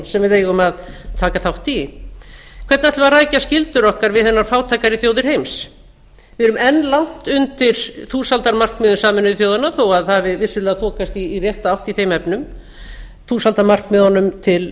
sem við eigum að taka þátt í hvernig ætlum við að rækja skyldur okkar við hinar fátækari þjóðir heims við erum enn langt undir þúsaldarmarkmiðum sameinuðu þjóðanna þó að vissulega hafi þokast í rétta átt í þeim efnum þúsaldarmarkmiðunum